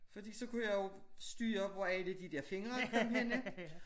Fordi så kunne jeg jo styre hvor alle de dér fingre kom hen